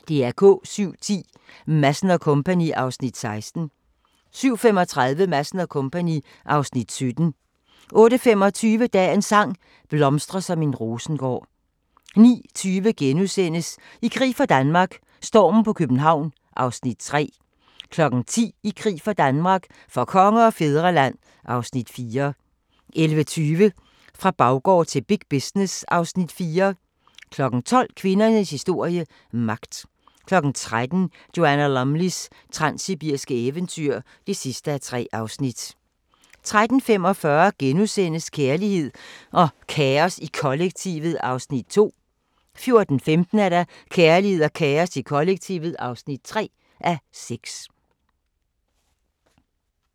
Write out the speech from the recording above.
07:10: Madsen & Co. (Afs. 16) 07:35: Madsen & Co. (Afs. 17) 08:25: Dagens sang: Blomstre som en rosengård 09:20: I krig for Danmark - stormen på København (Afs. 3)* 10:00: I krig for Danmark - for konge og fædreland (Afs. 4) 11:20: Fra baggård til big business (Afs. 4) 12:00: Kvindernes historie – magt 13:00: Joanna Lumleys transsibiriske eventyr (3:3) 13:45: Kærlighed og kaos i kollektivet (2:6)* 14:15: Kærlighed og kaos i kollektivet (3:6)